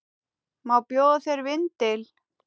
Má bjóða þér vindil?